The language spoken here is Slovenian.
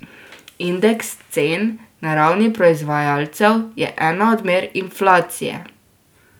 Indeks cen na ravni proizvajalcev je ena od mer inflacije.